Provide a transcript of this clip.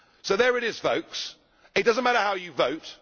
So there it is, folks. It does not matter how you vote.